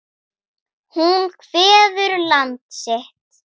Hún kveður land sitt.